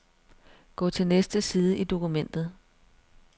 Gå til næste side i dokumentet.